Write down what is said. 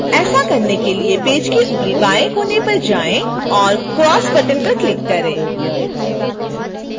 ऐसा करने के लिए पेज के ऊपरी बाएं कोने पर जाएं और cross button पर click करें